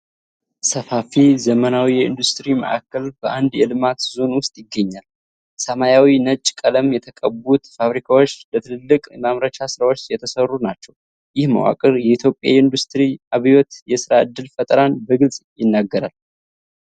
ሰፋፊ፣ ዘመናዊ የኢንዱስትሪ ማዕከል በአንድ የልማት ዞን ውስጥ ይገኛል። ሰማያዊና ነጭ ቀለም የተቀቡት ፋብሪካዎች ለትላልቅ የማምረቻ ስራዎች የተሠሩ ናቸው። ይህ መዋቅር የኢትዮጵያን የኢንዱስትሪ አብዮትና የሥራ ዕድል ፈጠራን በግልፅ ይናገራል።